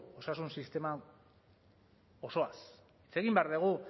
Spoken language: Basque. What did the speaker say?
osasun sistema osoaz hitz egin behar dugu